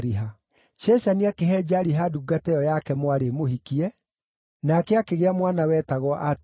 Sheshani akĩhe Jariha ndungata ĩyo yake mwarĩ ĩmũhikie, nake akĩgĩa mwana wetagwo Atai.